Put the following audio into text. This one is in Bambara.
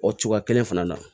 O cogoya kelen fana na